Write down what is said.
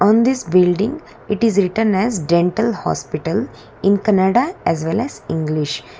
in this building it is written as dental hospital in kannada as well as english.